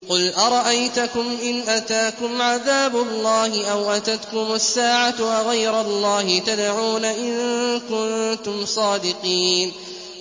قُلْ أَرَأَيْتَكُمْ إِنْ أَتَاكُمْ عَذَابُ اللَّهِ أَوْ أَتَتْكُمُ السَّاعَةُ أَغَيْرَ اللَّهِ تَدْعُونَ إِن كُنتُمْ صَادِقِينَ